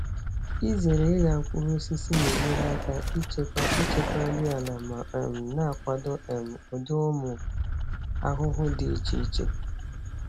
Izere ịgha mkpụrụ osisi na-enyere aka ichekwa ichekwa nri ala ma um na-akwado um ụdị ụmụ ahụhụ dị iche iche.